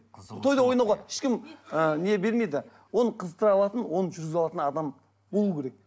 тойда ойнауға ешкім ы не бермейді оны қызықтыра алатын оны жүргізе алатын адам болу керек